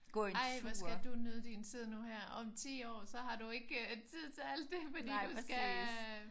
Ej hvor skal du nyde din tid nu her. Om 10 år så har du ikke tid til alt det fordi du skal